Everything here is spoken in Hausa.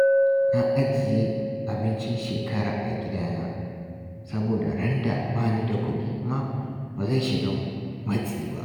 Na ajiye abincin shekara a gidana, saboda randa ba ni da kuɗi ma ba zan shiga matsi ba